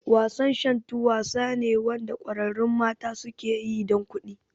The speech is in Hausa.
Wasan Shantu wasa ne Wanda kwararrun mata suke yi dan kuɗi